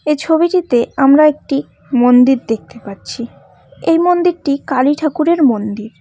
এই ছবিটিতে আমরা একটি মন্দির দেখতে পাচ্ছি এই মন্দিরটি কালী ঠাকুরের মন্দির।